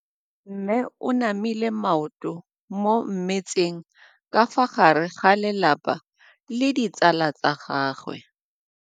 Mme o namile maoto mo mmetseng ka fa gare ga lelapa le ditsala tsa gagwe.